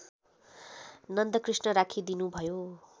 Nandakrishna राखिदिनुभयो